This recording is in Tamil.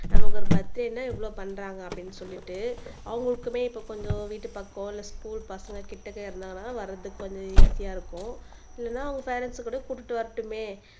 நமக்கு ஒரு பர்த்டேன்னா இவ்வளவு பண்றாங்க அப்படின்னு சொல்லிட்டு அவங்களுக்குமே இப்ப கொஞ்சம் வீட்டு பக்கம் இல்லை ஸ்கூல் பசங்க கிட்டக்க இருந்தாங்கன்னா வர்றதுக்கு கொஞ்சம் ஈசியா இருக்கும் இல்லைன்னா அவங்க பேரண்ட்ஸ கூட கூட்டிட்டு வரட்டுமே